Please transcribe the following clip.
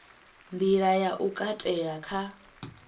nḓila ya u katela kha